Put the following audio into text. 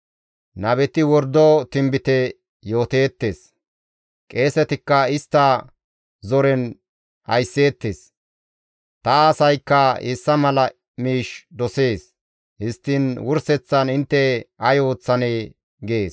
Nabeti wordo tinbite yooteettes; qeesetikka istta zoren aysseettes. Ta asaykka hessa mala miish dosees! Histtiin wurseththan intte ay ooththanee?» gees.